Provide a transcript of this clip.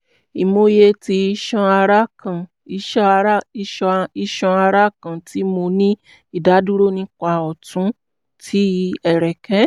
ìmòye ti iṣan-ara kan iṣan-ara kan ti mo ni idaduro ni apa ọtun ti ẹrẹkẹ